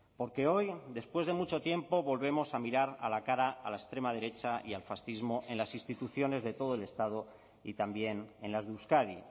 porque hoy después de mucho tiempo volvemos a mirar a la cara a la extrema derecha y al fascismo en las instituciones de todo el estado y también en las de euskadi